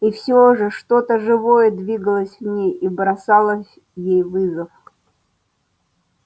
и всё же что-то живое двигалось в ней и бросало ей вызов